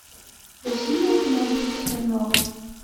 василия геннадьевича смирнова